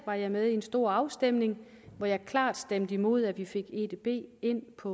var jeg med i en stor afstemning hvor jeg klart stemte imod at vi fik edb ind på